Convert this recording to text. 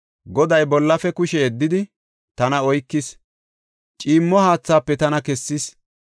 Goday bollafe kushe yeddidi, tana oykis; ciimmo haathaafe tana kessis.